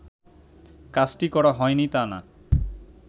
কাজটি করা হয়নি তা না